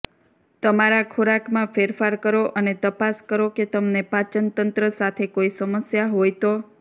તમારા ખોરાકમાં ફેરફાર કરો અને તપાસ કરો કે તમને પાચનતંત્ર સાથે કોઈ સમસ્યા હોય તો